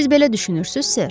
Siz belə düşünürsüz, Ser?